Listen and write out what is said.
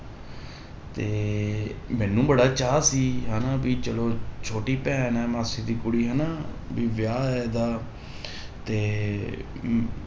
ਤੇ ਮੈਨੂੰ ਬੜਾ ਚਾਅ ਸੀ ਹਨਾ ਵੀ ਚਲੋ ਛੋਟੀ ਭੈਣ ਹੈ ਮਾਸੀ ਦੀ ਕੁੜੀ ਹਨਾ, ਵੀ ਵਿਆਹ ਇਹਦਾ ਤੇ ਅਮ